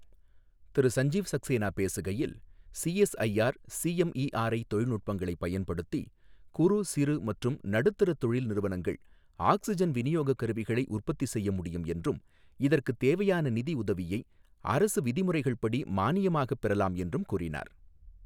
திரு சஞ்சீவ் சக்சேனா பேசுகையில், CSIR CMERI தொழில்நுட்பங்களை பயன்படுத்தி குறு, சிறு மற்றும் நடுத்தர தொழில் நிறுவனங்கள் ஆக்ஸிஜன் விநியோக கருவிகளை உற்பத்தி செய்ய முடியும் என்றும், இதற்கு தேவையான நிதியுதவியை அரசு விதிமுறைகள் படி மானியமாக பெறலாம் என்றும் கூறினார்.